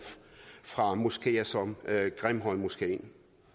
fra moskeer som grimhøjmoskeen